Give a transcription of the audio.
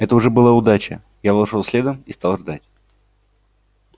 это уже была удача я вошёл следом и стал ждать